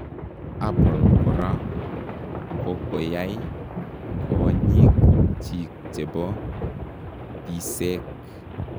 Apple koraa kokoyai koonyiik chik chebo biseek.